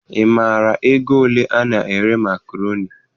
Ị maara ego ole ana ere makroni?